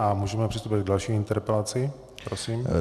A můžeme přistoupit k další interpelaci.